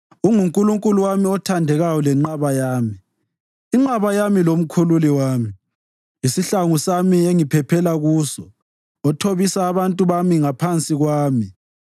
UnguNkulunkulu wami othandekayo lenqaba yami, inqaba yami lomkhululi wami, isihlangu sami engiphephela kuso, othobisa abantu bami ngaphansi kwami.